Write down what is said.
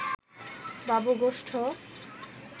বাবু গোষ্ঠ